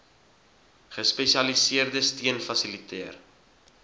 gespesialiseerde steun fasiliteer